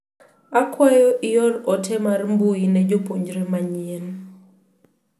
Akwayo ior ote mar mbui ne jopuonjre manyien.